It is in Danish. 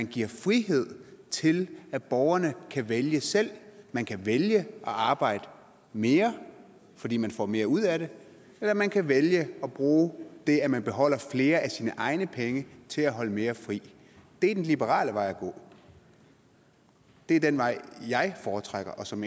giver frihed til at borgerne kan vælge selv man kan vælge at arbejde mere fordi man får mere ud af det eller man kan vælge at bruge det at man beholder flere af sine egne penge til at holde mere fri det er den liberale vej at gå det er den vej jeg foretrækker og som